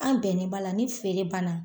An bɛnni b'a la ni feere banna